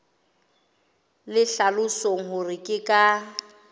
le hlalosang hore ke ka